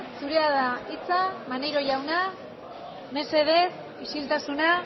zurea da hitza maneiro jauna mesedez isiltasuna